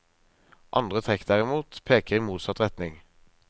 Andre trekk derimot peker i motsatt retning.